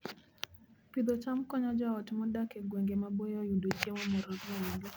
Pidho cham konyo joot modak e gwenge maboyo yudo chiemo moromogi